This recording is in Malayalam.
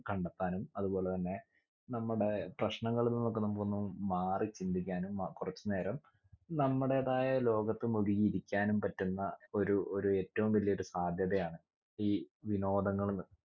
കണ്ടെത്താനും അത് പോലെ തന്നെ നമ്മുടെ പ്രശ്നങ്ങളിൽ നിന്നൊക്കെ നമുക്കൊന്ന് മാറി ചിന്തിക്കാനും അഹ് കുറച്ചു നേരം നമ്മുടേതായ ലോകത്തും ഒതുങ്ങി ഇരിക്കാനും പറ്റുന്ന ഒരു ഒരു ഏറ്റവും വലിയ ഒരു സാധ്യതയാണ് ഈ വിനോദങ്ങൾ എന്ന്